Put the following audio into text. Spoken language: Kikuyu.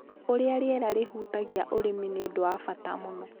Ũrĩa rĩera rĩhutagia ũrĩmi nĩ ũndũ wa bata mũno.